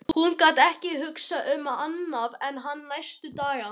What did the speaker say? Hún gat ekki hugsað um annað en hann næstu daga.